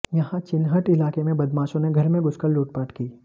यहां चिनहट इलाके में बदमाशों ने घर में घुसकर लूटपाट की